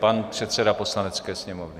Pan předseda Poslanecké sněmovny.